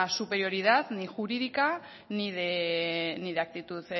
superioridad ni jurídica ni de actitud